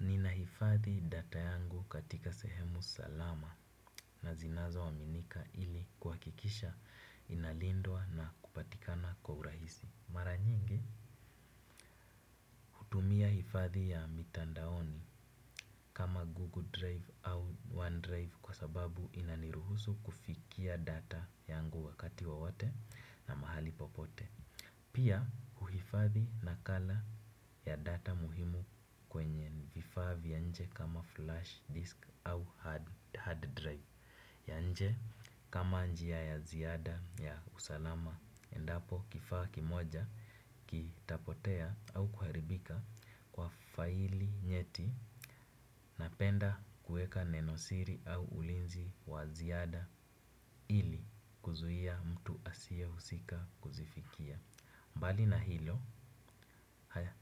Nina hifadhi data yangu katika sehemu salama na zinazo aminika ili kukikisha inalindwa na kupatikana kwa urahisi. Mara nyingi, hutumia hifadhi ya mitandaoni kama Google Drive au OneDrive kwa sababu inaniruhusu kufikia data yangu wakati wowote na mahali popote. Pia uhifadhi na kala ya data muhimu kwenye vifaa vya nje kama flash disk au hard drive ya nje kama njia ya ziada ya usalama endapo kifaa kimoja kitapotea au kuharibika kwa faili nyeti napenda kueka nenosiri au ulinzi wa ziada ili kuzuia mtu asie husika kuzifikia. Mbali na hilo,